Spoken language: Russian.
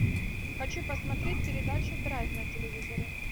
хочу посмотреть передачу драйв на телевизоре